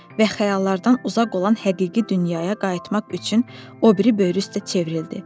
Və xəyallardan uzaq olan həqiqi dünyaya qayıtmaq üçün o biri böyrü üstə çevrildi.